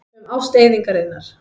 Um ást eyðingarinnar.